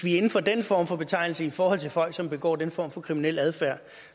inden for den form for betegnelse i forhold til folk som begår den form for kriminel adfærd